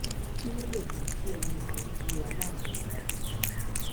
kí ló lè mú kí ẹnì kan di aláàbọ̀ ara